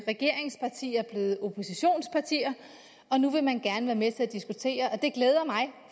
regeringspartier blevet oppositionspartier og nu vil man gerne være med til at diskutere det glæder mig